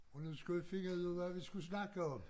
Og nu skulle vi finde ud af hvad vi skulle snakke om